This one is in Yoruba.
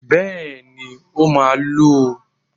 Bẹ́ẹ̀ ni, ó máa lu ú